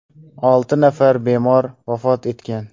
Olti nafar bemor vafot etgan.